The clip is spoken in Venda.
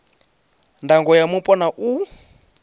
ndango ya mupo na u